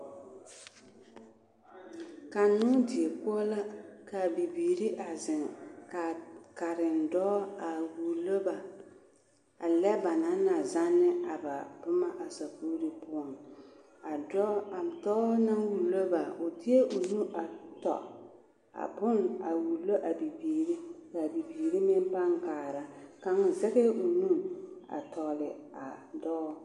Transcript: Kannoo die poɔ la k'a bibiiri a zeŋ k'a karendɔɔ a wulo ba a lɛ banaŋ na zanne a ba boma a sakuuri poɔŋ, a dɔɔ naŋ wulo ba o deɛ o nu a tɔ a bone a wulo a bibiiri k'a bibiiri meŋ pãã kaara, kaŋ zɛŋɛɛ o nu a tɔgele a dɔɔ.